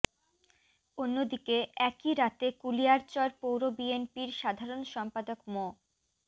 অন্যদিকে একই রাতে কুলিয়ারচর পৌর বিএনপির সাধারণ সম্পাদক মো